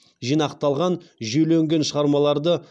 жинақталған жүйеленген шығармаларды